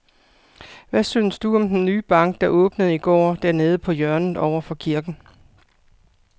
Hvad synes du om den nye bank, der åbnede i går dernede på hjørnet over for kirken?